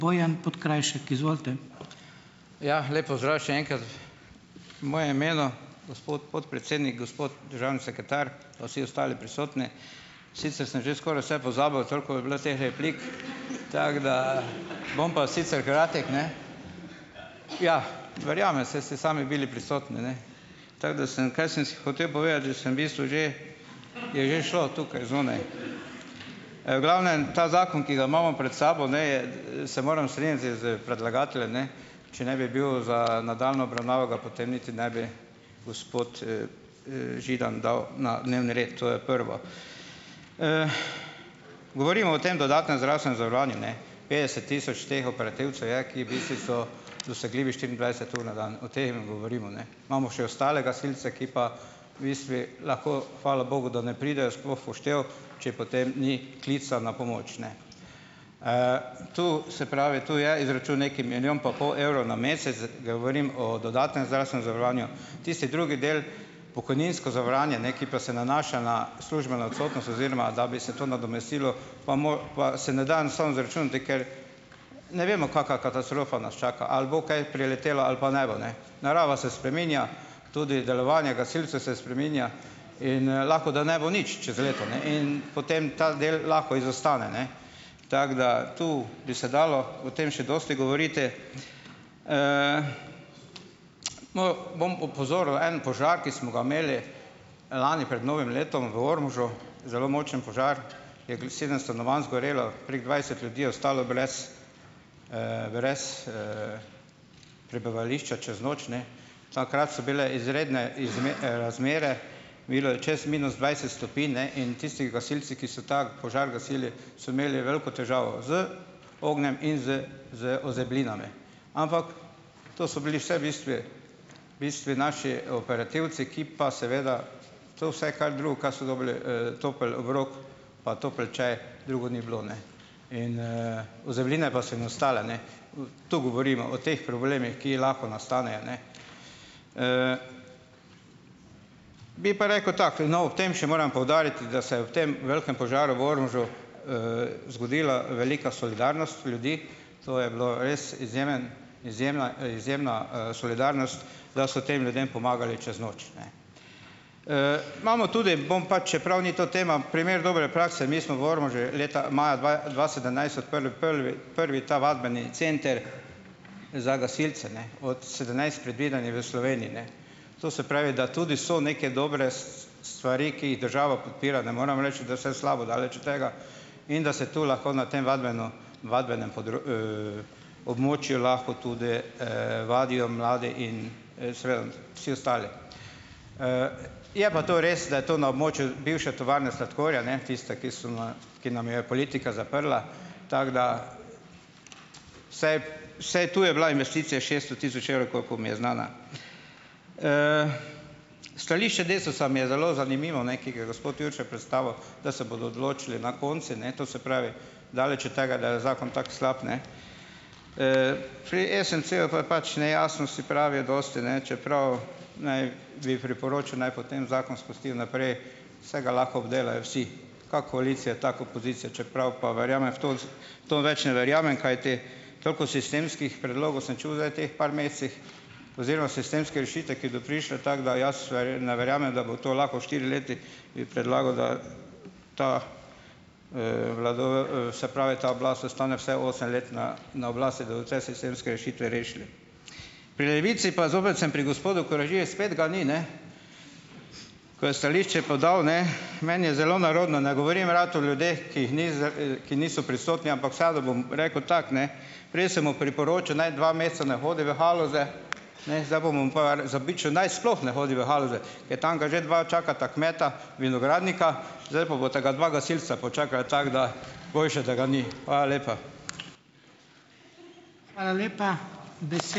Ja, lep pozdrav še enkrat v mojem imenu, gospod podpredsednik, gospod državni sekretar pa vsi ostali prisotni. Sicer sem že skoraj vse pozabil, toliko je bilo teh replik, tako da, bom pa sicer kratek, ne. Ja, verjamem, saj ste sami bili prisotni, ne. Tako da sem, kaj sem si hotel povedati, že sem v bistvu že, je že šlo tukaj zunaj. V glavnem ta zakon, ki ga imamo pred sabo, ne, je, se morem strinjati s predlagateljem, ne. Če ne bi bil za nadaljnjo obravnavo, ga potem niti ne bi gospod, Židan dal na dnevni red. To je prvo. Govorimo o tem dodatnem zdravstvenem zavarovanju, ne. Petdeset tisoč teh operativcev je, ki v bistvu so dosegljivi štiriindvajset ur na dan. O teh govorimo, ne. Imamo še ostale gasilce, ki pa v bistvu, lahko hvala bogu, da ne pridejo sploh v poštev, če potem ni klica na pomoč, ne. To se pravi, to je izračun neki milijon pa pol evrov na mesec z, govorim o dodatnem zdravstvenem zavarovanju. Tisti drugi del, pokojninsko zavarovanje, ne, ki pa se nanaša na službeno odsotnost, oziroma da bi se to nadomestilo, pa mora pa se ne da enostavno izračunati, ker ne vemo, kakšna katastrofa nas čaka, ali bo kaj priletelo ali pa ne bo, ne. Narava se spreminja, tudi delovanje gasilcev se spreminja. In lahko, da ne bo nič čez leto, ne. In potem ta del lahko izostane, ne. Tako da tu bi se dalo o tem še dosti govoriti. Bom opozoril en požar, ki smo ga imeli lani pred novim letom v Ormožu, zelo močen požar, je sedem stanovanj zgorelo, prek dvajset ljudi je ostalo brez prebivališča čez noč, ne. Takrat so bile izredne razmere. Bilo je čez minus dvajset stopinj, ne. In tisti gasilci, ki so ta požar gasili, so imeli veliko težavo z ognjem in z z ozeblinami. Ampak to so bili vse bistvu bistvu naši operativci, ki pa seveda to vse, kar drugo, kar so dobili, je, topel obrok pa topel čaj, drugo ni bilo, ne. Ozebline pa so jim ostale, ne. Tu govorimo o teh problemih, ki lahko nastanejo, ne. Bi pa rekel takole, no, ob tem še moram poudariti, da se je ob tem velikem požaru v Ormožu zgodila velika solidarnost ljudi. To je bilo res izjemen, izjemna, izjemna, solidarnost, da so tem ljudem pomagali čez noč. Imamo tudi bom pa, čeprav ni to tema, primer dobre prakse, mi smo v Ormožu leta maja dva dva sedemnajst odprli prvi prvi ta vadbeni center za gasilce, ne, od sedemnajst predvideni v Sloveniji, ne. To se pravi, da tudi so neke dobre stvari, ki je država podpira, ne morem reči, da je vse slabo, daleč od tega, in da se to lahko na tem vadbenem območju lahko tudi vadijo mladi in, seveda vsi ostali. Je pa to res, da je to na območju bivše tovarne sladkorja, ne, tiste, ki so na, ki nam jo je politika zaprla. Tako da. Vsaj to je bila investicija šeststo tisoč evrov, koliko mi je znana. Stališče Desusa mi je zelo zanimivo, ne, ki ga je gospod Jurše predstavil, da se bodo odločili na koncu, ne. To se pravi, daleč od tega, da je zakon tako slab, ne. Pri SMC-ju pa je pač nejasnosti, pravijo, dosti, ne, čeprav naj, bi priporočil, naj potem zakon spustijo naprej, saj ga lahko obdelajo vsi, kako koalicija, tako opozicija, čeprav pa verjame v to, v to več ne verjamem. Kajti, toliko sistemskih predlogov sem čul zdaj v teh par mesecih oziroma sistemske rešitve, ki bodo prišle, tako da jaz ne verjamem, da bo to lahko v štirih letih, bi predlagal, da, se pravi, ta oblast ostane vsaj osem let na na oblasti, da od vse sistemske rešitve rešili. Pri Levici pa, zopet sem pri gospodu Koražiji, spet ga ni, ne, ko je stališče podal, ne. Meni je zelo nerodno, ne govorim rad o ljudeh, ki niso prisotni, ampak vseeno bom rekel tako, ne. Prej sem mu priporočil naj dva meseca ne hodi v Haloze, ne, zdaj mu bom pa zabičal, naj sploh ne hodi v Haloze, ker tam ga že dva čakata kmeta, vinogradnika, zdaj pa bosta ga dva gasilca počakala, tako da boljše, da ga ni. Hvala lepa.